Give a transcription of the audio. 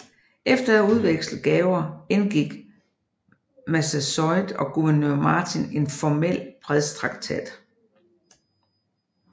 Efter at have udvekslet gaver indgik Massasoit og guvernør Martin en formel fredstraktat